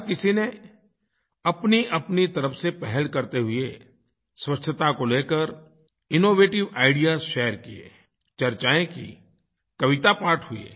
हर किसी ने अपनीअपनी तरफ से पहल करते हुए स्वच्छता को लेकर इनोवेटिव आईडीईएएस शेयर किये चर्चाएं की कविता पाठ हुए